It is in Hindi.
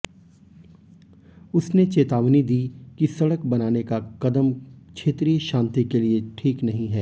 उसने चेतावनी दी कि सडक़ बनाने का कदम क्षेत्रीय शांति के लिए ठीक नहीं है